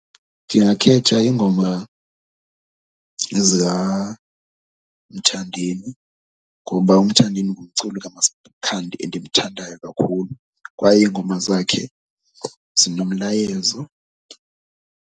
Ndingakhetha iingoma ezikaMthandeni ngoba uMthandeni ngumculi kaMasikhandi endimthandayo kakhulu kwaye iingoma zakhe zinomlayezo.